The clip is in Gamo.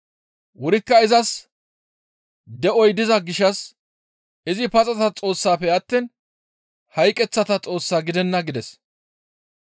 Wurikka izas de7oy diza gishshas izi paxata Xoossafe attiin hayqeththata Xoos gidenna» gides.